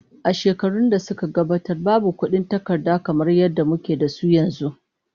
A shekarun da suka gabata, babu kuɗin takarda kamar yadda muke da su yanzu.